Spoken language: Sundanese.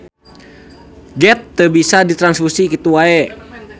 Geth teu bisa ditranfusi kitu wae.